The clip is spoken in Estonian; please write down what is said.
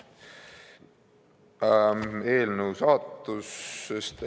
Eelnõu saatusest.